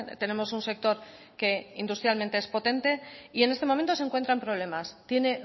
tenemos un sector que industrialmente es potente y en este momento se encuentra en problemas tiene